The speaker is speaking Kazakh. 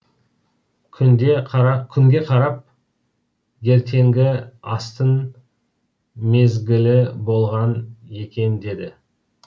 күнге қарап ертеңгі астың мезгілі болған екен деді